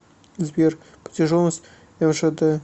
сбер протяженность мжд